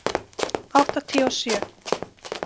áttatíu og sjö.